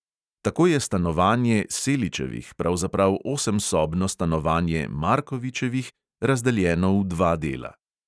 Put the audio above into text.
Tako je stanovanje seličevih pravzaprav osemsobno stanovanje markovičevih, razdeljeno v dva dela.